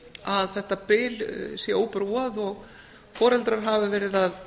að þetta bil sé óbrúað og foreldrar hafa verið að